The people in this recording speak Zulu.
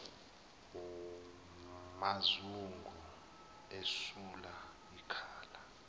mazungu esula ikhala